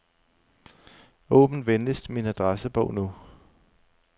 Åbn venligst min adressebog nu.